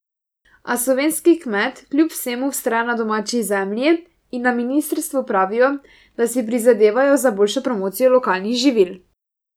A slovenski kmet kljub vsemu vztraja na domači zemlji in na ministrstvu pravijo, da si prizadevajo za boljšo promocijo lokalnih živil.